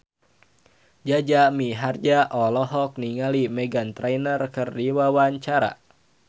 Jaja Mihardja olohok ningali Meghan Trainor keur diwawancara